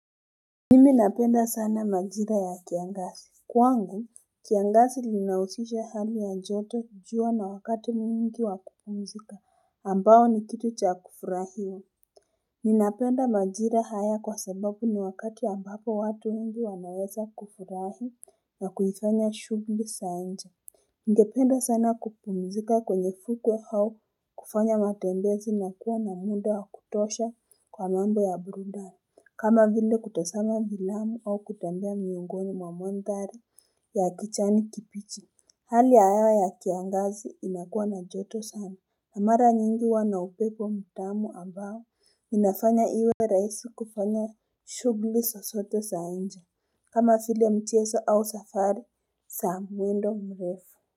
Nimi napenda sana majira ya kiangazi kwangu kiangazi linahusisha hali ya joto jua na wakati mwingi wakupumzika ambao ni kitu cha kufurahia Ninapenda majira haya kwa sababu ni wakati ambapo watu wengi wanaweza kufurahi na kuifanya shughuli za nje Ningependa sana kupumzika kwenye fuku au kufanya matembezi na kuwa na muda wa kutosha kwa mambo ya burundani kama vile kutosama vilamu au kutambia miungoni mamontari ya kichani kipichi Hali ya hewa ya kiangazi inakuwa na joto sana na mara nyingi huwa na upepo mtamu ambao ninafanya iwe rahisi kufanya shughuli so sotoesa nje kama file mcheso au safari sa mwendo mrefu.